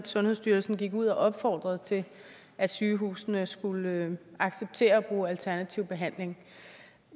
sundhedsstyrelsen gik ud og opfordrede til at sygehusene skulle acceptere at bruge alternativ behandling